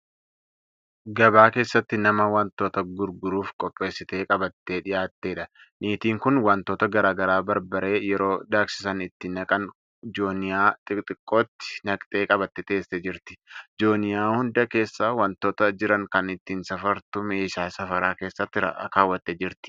Gabaa keessatti nama wantoota gurguruuf qopheessite qabattee dhiyaattedha. Niitiin kun wantoota garaagaraa barbarree yeroo daaksisan itti naqan jooniyyaa xixiqqootti naqxee qabattee teessee jirti. Jooniyyaa hunda keessa wantoota jiran kan ittiin safartu meeshaa safaraa keessatti kaawwattee jirti.